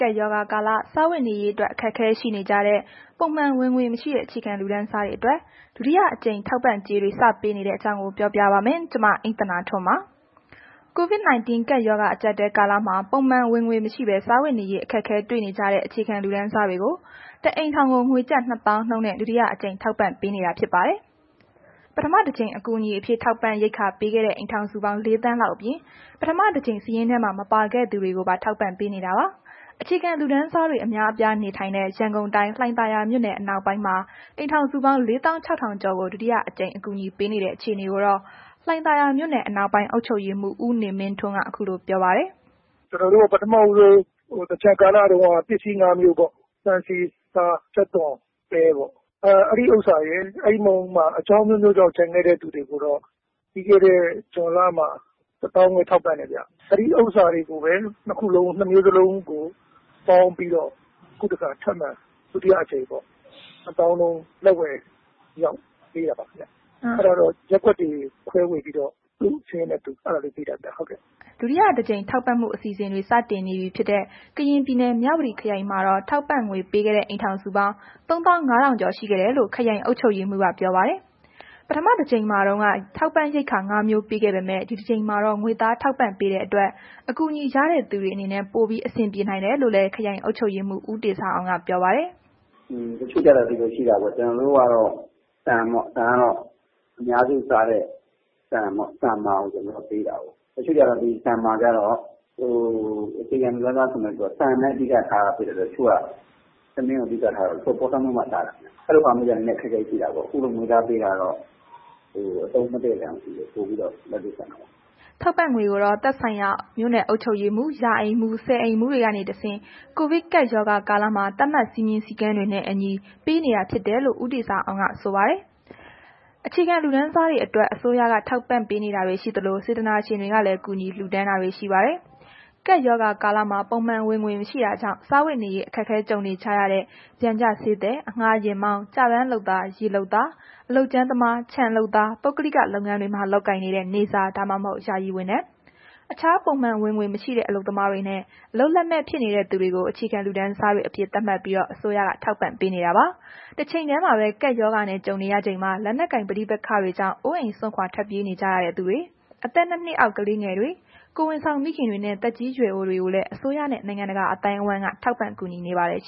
ကပ်ရောဂါကာလ စားဝတ်နေရေးအတွက် အခက်အခဲရှိနေကြတဲ့ ပုံမှန်ဝင်ငွေမရှိတဲ့ အခြေခံလူတန်းစားတွေအတွက် ဒုတိယအကြိမ် ထောက်ပံ့ကြေးတွေ စပေးနေတဲ့အကြောင်း မ အိမ့်သန္တာထွန်း ပြောပြပါမယ်။ COVID-19 ကပ်ရောဂါအကြပ်အတည်း ကာလမှာ ပုံမှန်ဝင်ငွေမရှိဘဲ စားဝတ်နေရေး အခက်အခဲ တွေ့နေကြတဲ့ အခြေခံလူတန်းစားတွေကို တစ်အိမ်ထောင်ကို ငွေကျပ် နှစ်သောင်းနှုန်းနဲ့ ဒုတိယအကြိမ် ထောက်ပံ့ပေးနေတာ ဖြစ်ပါတယ်။ ပထမတကြိမ် အကူအညီအဖြစ် ရိက္ခာထောက်ပံ့ခဲ့တဲ့ အိမ်ထောင်စု ၄ သန်းလောက်အပြင် ပထမတကြိမ် စာရင်းထဲမှာ မပါခဲ့သူတွေကို ထောက်ပံ့ပေးနေတာပါ။ အခြေခံလူတန်းစားတွေ အများအပြားနေထိုင်တဲ့ ရန်ကုန်တိုင်း လှိုင်သာယာမြို့နယ်အနောက်ပိုင်းမှာ အိမ်ထောင်စုပေါင်း ၄၆၀၀၀ကျော်ကို ဒုတိယအကြိမ် အကူအညီပေးနေတဲ့ အခြေအနေ ကိုတော့ လှိုင်သာယာမြို့နယ် အနောက်ပိုင်းအုပ်ချုပ်ရေးမှုး ဦးနေမင်းထွန်းက ခုလိုပြောပြပါတယ်။ “ကျွန်တော်တို့ ပထမဦးဆုံး သင်္ကြန်ကာလတုန်းက ဆန်၊ဆီ၊ဆား၊ ကြက်သွန်၊ပဲ ပေါ့အဲ့ဒီ ဥစ္စာရယ်၊ နောက် အကြောင်းအမျိုးမျိုးကြောင့် ကျန်ခဲ့တဲ့သူတွေပေါ့ ပြီးခဲ့တဲ့ ဇွန်လမှာ ၁၅၀၀၀ ထောက်ပံ့တယ်။ အဲ့ဒီဥစ္စာတွေကိုပဲ နှစ်မျိုးစလုံးကို ပေါင်းပြီးတော့ ခုတစ်ခါ ထပ်မံ ဒုတိယအကြိမ်ပေါ့ နှစ်သောင်းနှုန်း လက်ဝယ်အရောက် ပေးတာပါ။ အဲ့တာကတော့ ရပ်ကွက်တွေခွဲဝေပြီးတော့ သူ့ရပ်ကွက်နဲ့သူ ခွဲဝေပြီး ပေးလိုက်တာခင်ဗျ။” ဒုတိယအကြိမ် ထောက်ပံ့မှုအစီအစဉ်တွေ စတင်နေပြီဖြစ်တဲ့ ကရင်ပြည်နယ် မြဝတီခရိုင် မှာတော့ ထောက်ပံ့ငွေပေးခဲ့တဲ့ အိမ်ထောင်စု ၃၅၀၀၀ကျော် ရှိခဲ့တယ်လို့ ခရိုင်အုပ်ချုပ်ရေးမှူးက ပြောပါတယ်။ ပထမတကြိမ်မှာတုန်းက ထောက်ပံ့ရိက္ခာ ၅ မျိုး ပေးခဲ့ပေမဲ့ ဒီတကြိမ်မှာတော့ ငွေသားထောက်ပံ့ပေးတဲ့အတွက် အကူအညီရတဲ့သူတွေအတွက် ပိုပြီး အဆင်ပြေနိုင်တယ်လို့လည်း ခရိုင်အုပ်ချုပ်ရေးမှူး ဦးတေဇာအောင်က ပြောပါတယ်။ “ကျွန်တော်တို့ အရင်တစ်ခေါက် ပေးတာက အများစုစားတဲ့ ဆန်မာပေါ့၊ ဆန်မာကို ကျွန်တော်တို့ ပေးတာကိုး။ တစ်ချို့ အခြေခံလူတန်းစားတွေကျတော့ ထမင်းကိုပဲ အဓိက စားရတာဆိုတော့ ပေါ်ဆန်းမွှေးမှ စားတာ အဲ့တာတော့ သူတို့မှာ အခက်အခဲရှိတာပေါ့။ ခုလို ငွေသားပေးတာကျတော့ အသုံးမတည့်တဲ့နေရာမရှိဘူး။ ပိုပြီးတော့ လက်တွေ့ကျတာပေါ့။” ထောက်ပံ့ကြေးငွေကိုတော့ သက်ဆိုင်ရာ မြို့နယ်အုပ်ချုပ်ရေးမှူး၊ ရာအိမ်မှူး၊ ဆယ်အိမ်မှူး တွေကတဆင့် ကိုဗစ် ကပ်ရောဂါကာလမှာ သတ်မှတ်စည်းကမ်းတွေနဲ့ အညီ ပေးအပ်နေတယ် လို့လည်း ဦးတေဇာအောင်က ပြောပါတယ်။ အခြေခံလူတန်းစားတွေအတွက် အစိုးရကထောက်ပံ့နေသလို စေတနာရှင်တွေကလည်း ကူညီလှူဒါန်းတာတွေ ရှိပါတယ်။ ကပ်ရောဂါကာလမှာ ပုံမှန်ဝင်ငွေမရှိတာကြောင့် စားဝတ်နေရေး အခက်ကြုံနေကြတဲ့ ပျံကျဈေးသည်၊ အငှားယာဉ်မောင်း၊ ကျပန်းလုပ်သား၊ ရေလုပ်သား၊ အလုပ်ကြမ်းသမား၊ ခြံလုပ်သား၊ ပုဂ္ဂလိက လုပ်ငန်းတွေမှာလုပ်ကိုင်နေတဲ့ နေ့စား ဒါမှမဟုတ် ယာယီဝန်ထမ်း၊ အခြားပုံမှန် ဝင်ငွေမရှိတဲ့ အလုပ်သမားတွေနဲ့ အလုပ်လက်မဲ့ ဖြစ်နေသူတွေကို အခြေခံလူတန်းစားတွေအဖြစ် သတ်မှတ်ပြီး အစိုးရက ထောက်ပံ့နေတာပါ။ တချိန်တည်းမှာပဲ ကပ်ရောဂါနဲ့ ကြုံရချိန်မှာ လက်နက်ကိုင် ပဋိပက္ခတွေကြောင့် အိုးအိမ်စွန့်ခွာ ထွက်ပြေး နေကြရသူတွေ၊ အသက် ၂ နှစ်အောက် ကလေးငယ်တွေ၊ ကိုယ်ဝန်ဆောင်မိခင်တွေနှင့် သက်ကြီးရွယ်အိုတွေကိုလည်း အစိုးရနဲ့ နိုင်ငံတကာ အသိုင်းအဝန်းက ထောက်ပံ့ကူညီနေပါတယ်။